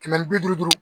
Kɛmɛ ni bi duuru